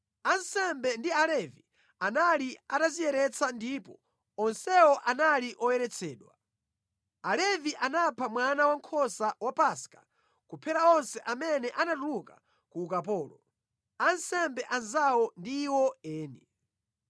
Ansembe ndi Alevi anali atadziyeretsa ndipo onsewo anali oyeretsedwa. Alevi anapha mwana wankhosa wa Paska kuphera onse amene anatuluka ku ukapolo, ansembe anzawo ndi iwo eni.